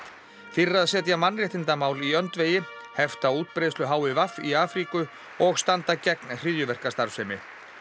fyrir að setja mannréttindamál í öndvegi hefta útbreiðslu h i v í Afríku og standa gegn hryðjuverkastarfsemi